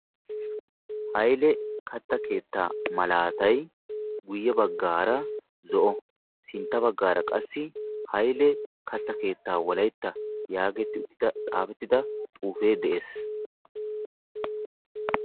Hayile katta keettaa malaatay guyye baggaara zo"o sintta baggaara qassi hayile katta keettaa wolayitta yaagetti uttida xaafettida xuufee de"es.